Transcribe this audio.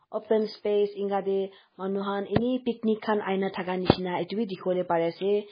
open space enka teh manu khan ane picnic khan ahi na thaka nisna etu bhi dikhibole pare ase.